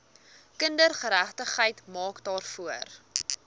kindergeregtigheid maak daarvoor